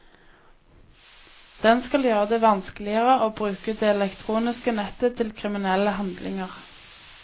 Den skal gjøre det vanskeligere å bruke det elektroniske nettet til kriminelle handlinger.